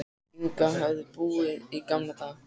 Inga höfðu búið í gamla daga.